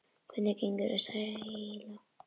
Hvernig gengur að selja?